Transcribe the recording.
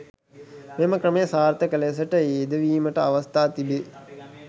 මෙම ක්‍රමය සාර්ථක ලෙසට යෙදවීමට අවස්ථා තිබේ.